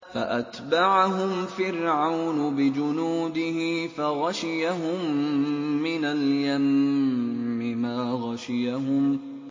فَأَتْبَعَهُمْ فِرْعَوْنُ بِجُنُودِهِ فَغَشِيَهُم مِّنَ الْيَمِّ مَا غَشِيَهُمْ